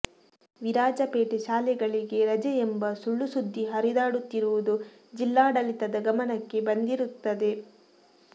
ವಿರಾಜಪೇಟೆ ಶಾಲೆಗಳಿಗೆ ರಜೆ ಎಂಬ ಸುಳ್ಳು ಸುದ್ದಿ ಹರಿದಾಡುತ್ತಿರುವುದು ಜಿಲ್ಲಾಡಳಿತದ ಗಮನಕ್ಕೆ ಬಂದಿರುತ್ತದೆ